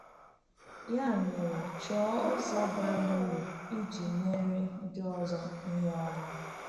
Ya mere, chọọ ụzọ bara uru iji meere ndị ọzọ ihe ọma.